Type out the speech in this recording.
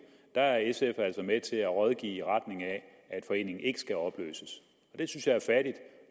er sf altså med til at rådgive i retning af at foreningen ikke skal opløses det synes jeg er fattigt